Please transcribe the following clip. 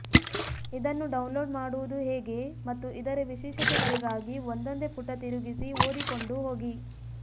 ಇದನ್ನು ಡೌನ್ಲೋಡ್ ಮಾಡುವುದು ಹೇಗೆ ಮತ್ತು ಇದರ ವಿಶೇಷತೆಗಳಿಗಾಗಿ ಒಂದೊಂದೆ ಪುಟ ತಿರುಗಿಸಿ ಓದಿಕೊಂಡು ಹೋಗಿ